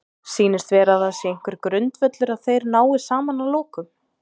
Sýnist vera að það sé einhver grundvöllur að þeir nái saman að lokum?